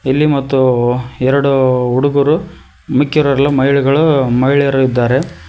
ಇಲ್ಲಿ ಮತ್ತು ಎರಡು ಹುಡುಗರು ಮಿಕ್ಕಿರೋರೆಲ್ಲ ಮಹಿಳೆಗಳು ಮಹಿಳೆಯರು ಇದ್ದಾರೆ.